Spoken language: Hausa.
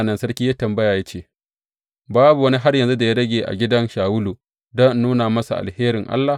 Sa’an nan sarki ya yi tambaya ya ce, Babu wani har yanzu da ya rage a gidan Shawulu don in nuna masa alherin Allah?